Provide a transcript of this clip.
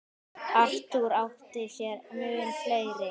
Arthur átti sér mun fleiri.